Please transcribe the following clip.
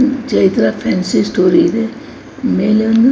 Chaitra fancy store ಇದೆ ಮೇಲೆ ಒಂದು --